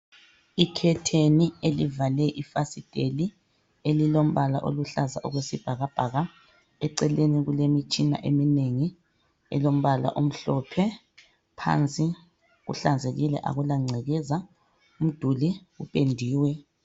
I curtain elivale ifasiteli elilombala oluhlaza okwesibhakabhaka eceleni kulemitshina eminengi elombala omhlophe phansi kuhlanzekile akulangcekeza umduli upendiwe.